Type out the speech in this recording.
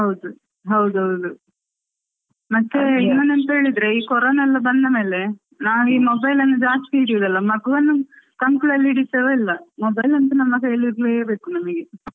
ಹೌದು ಹೌದೌದು ಮತ್ತೆ ಇನ್ನೊಂದು ಎಂತಾ ಅಂತ ಹೇಳಿದ್ರೆ ಈ ಕೊರೋನಾ ಎಲ್ಲ ಬಂದ ಮೇಲೆ ನಾವು ಈ mobile ಅನ್ನು ಈಗ ಜಾಸ್ತಿ ಹಿಡಿಯೋದಲ್ಲ. ಮಗುವನ್ನು ಕಂಕುಳಲ್ಲಿ ಹಿಡಿತೇವಾ ಇಲ್ವಾ mobile ಅಂತೂ ನಮ್ಮ ಕೈಯಲ್ಲಿ ಇರ್ಲೇ ಬೇಕು ನಮಗೆ.